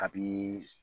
A bi